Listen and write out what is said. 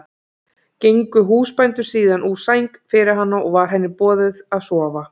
Gengu húsbændur síðan úr sæng fyrir hana og var henni boðið að sofa.